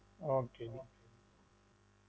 Okay